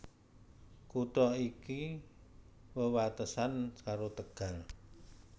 Kutha iki wewatesan karo Tegal